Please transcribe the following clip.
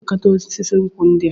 Onye na-elekọta osisi nkwụ ndị a?